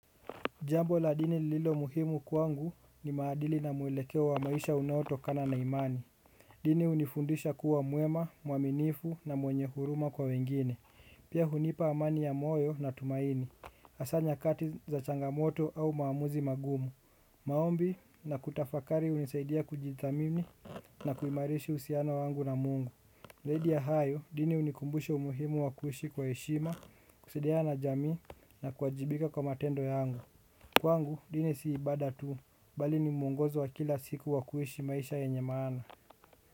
Jambo la dini lililo muhimu kwangu ni maadili na mwelekeo wa maisha unaotokana na imani. Dini hunifundisha kuwa mwema, muaminifu na mwenye huruma kwa wengine. Pia hunipa amani ya moyo na tumaini, hasa nyakati za changamoto au maamuzi magumu. Maombi na kutafakari hunisaidia kujithamini na kuimarishi uhusiano wangu na mungu zaidi ya hayo dini hunikumbusha umuhimu wa kuishi kwa heshima, kusaidiana na jamii na kuwajibika kwa matendo ya angu kwangu dini si ibada tu bali ni muongozo wa kila siku wa kuishi maisha yenye maana.